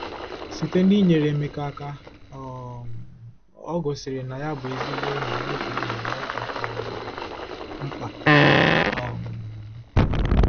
Site n'inyere Emeka aka, o um gosiri na ya bụ ezigbo enyi n'oge enyi n'oge um mkpa. um